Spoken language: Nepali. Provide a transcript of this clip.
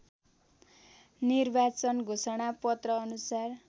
निर्वाचन घोषणा पत्रअनुसार